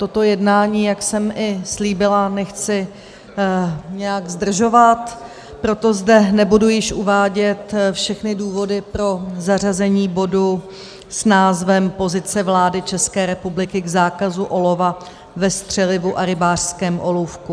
Toto jednání, jak jsem i slíbila, nechci nějak zdržovat, proto zde nebudu již uvádět všechny důvody pro zařazení bodu s názvem Pozice vlády České republiky k zákazu olova ve střelivu a rybářském olůvku.